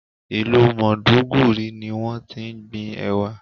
Ìlú Maiduguri ni wón ti ń gbin Ẹ̀wà.